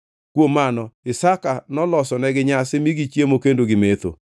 Kuom mano Isaka nolosonegi nyasi mi gichiemo kendo gimetho.